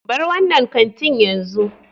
Bar wannan kantin yanzu.